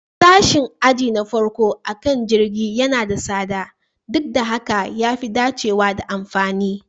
Sashin aji na farko akan jirgin yana da tsada, duk da haka ya fi dacewa da amfani